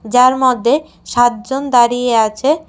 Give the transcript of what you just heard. যার মধ্যে সাতজন দাঁড়িয়ে আছে।